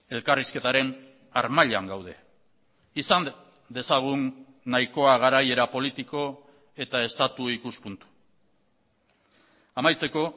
elkarrizketaren harmailan gaude izan dezagun nahikoa garaiera politiko eta estatu ikuspuntu amaitzeko